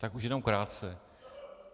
Tak už jenom krátce.